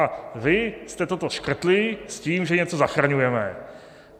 A vy jste toto škrtli s tím, že něco zachraňujeme.